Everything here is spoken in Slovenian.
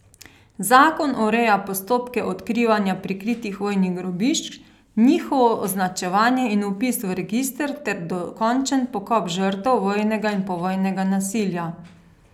Zakon ureja postopke odkrivanja prikritih vojnih grobišč, njihovo označevanje in vpis v register ter dokončen pokop žrtev vojnega in povojnega nasilja.